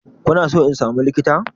Kuna so in samu likita?